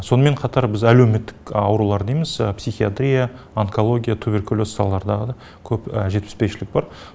сонымен қатар біз әлеуметтік аурулар дейміз псиахитрия онкология туберкулез салаларда да көп жетіспеушілік бар